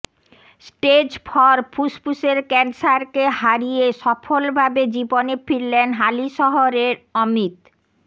stage four ফুসফুসের ক্যান্সারকে হারিয়ে সফলভাবে জীবনে ফিরলেন হালিশহরের অমিত